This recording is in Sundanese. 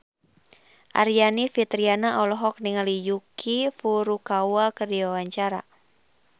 Aryani Fitriana olohok ningali Yuki Furukawa keur diwawancara